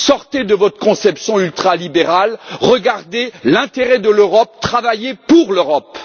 Sortez de votre conception ultralibérale, regardez l'intérêt de l'Europe, travaillez pour l'Europe!